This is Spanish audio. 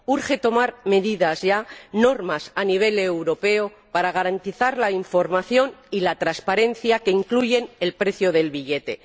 Urge tomar medidas ya, normas a nivel europeo, para garantizar la información y la transparencia, que incluyen el precio del billete.